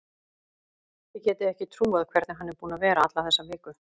Þið getið ekki trúað hvernig hann er búinn að vera alla þessa viku.